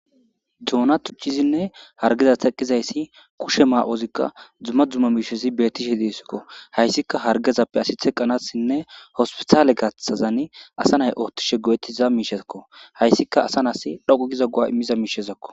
Duona tuchizinne hargeza teqqizayssi kushe maa7ozikka dzuma dzuma miishezi beettishe diesikko hayssika hargezappe asi theqqanassinne hospitaale gathazan asa nay oottishe go7ettiza miishezakko hayssika asa nas dhoqu giza goa immiza miishezakko